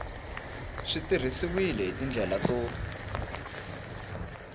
swi tirhisiwile hi tindlela to